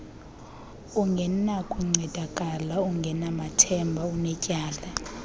ungenakuncedakala ungenathemba unetyala